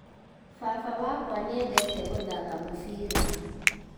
Baba wakwa nĩendete gũthaka mũbira